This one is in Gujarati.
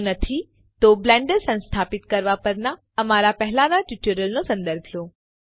જો ન તો બ્લેન્ડર સંસ્થાપિત કરવા પરના અમારા પહેલાંના ટ્યુટોરિયલ્સનો સંદર્ભ લો